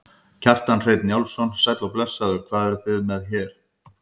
Kjartan Hreinn Njálsson: Sæll og blessaður, hvað eruð þið með hérna?